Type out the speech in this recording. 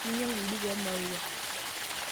Minyangu empeku oomaua.